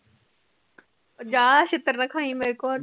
ਜਾ ਛਿੱਤਰ ਨਾ ਖਾਈ ਮੇਰੇ ਤੋ